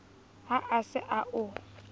ha a se a o